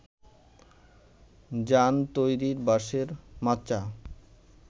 জান তৈরির বাঁশের মাচা